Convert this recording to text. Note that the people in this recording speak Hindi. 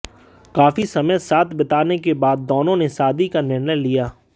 काफी समय साथ बिताने के बाद दोनों ने शादी का निर्णय लिया